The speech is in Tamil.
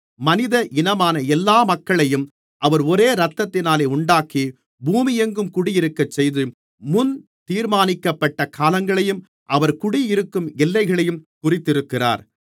மனித இனமான எல்லா மக்களையும் அவர் ஒரே இரத்தத்தினாலே உண்டாக்கி பூமியெங்கும் குடியிருக்கச்செய்து முன் தீர்மானிக்கப்பட்ட காலங்களையும் அவர்கள் குடியிருக்கும் எல்லைகளையும் குறித்திருக்கிறார்